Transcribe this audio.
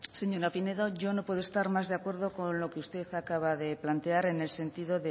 señora pinedo yo no puedo estar más de acuerdo con lo que usted acaba de plantear en el sentido